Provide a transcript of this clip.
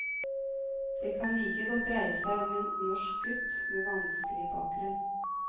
Det kan like godt dreie seg om en norsk gutt med vanskelig bakgrunn.